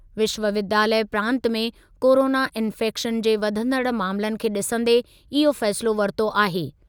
विश्वविद्यालय प्रांतु में कोरोना इंफैक्शन जे वधंदड़ मामलनि खे ॾिसंदे इहो फ़ैसिलो वरितो आहे।